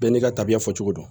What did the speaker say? Bɛɛ n'i ka tabiya fɔ cogo do